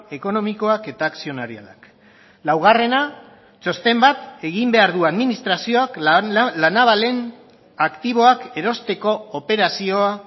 ekonomikoak eta akzionarialak laugarrena txosten bat egin behar du administrazioak la navalen aktiboak erosteko operazioa